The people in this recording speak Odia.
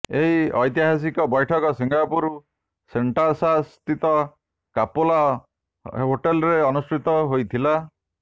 ଏହି ଐତିହାସିକ ବୈଠକ ସିଙ୍ଗାପୁର ସେଣ୍ଟୋସା ସ୍ଥିତ କାପେଲା ହୋଟେଲ୍ରେ ଅନୁଷ୍ଠିତ ହୋଇଥିଲା